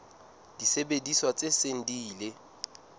disebediswa tse seng di ile